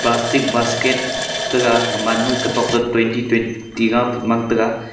plastic basket taiga gaman ma gatok to twenty twenty gapa man taiga.